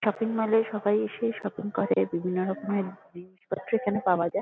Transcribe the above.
Shopping mall -এ সবাই এসে শপিং করে বিভিন্নরকমের জিনিসপত্র এখানে পাওয়া যায়।